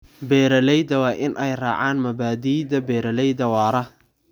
Beeralayda waa inay raacaan mabaadiida beeralayda waara.